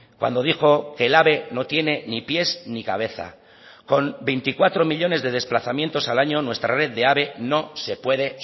cuando dijo que el ave no tiene ni pies ni cabeza con veinticuatro millónes de desplazamientos al año nuestra red de ave no se puede